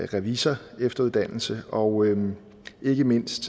revisorefteruddannelse og ikke mindst